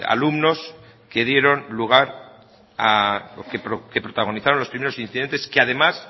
alumnos que protagonizaron los primeros incidentes que además